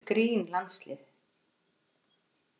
Þvílíkt grín landslið.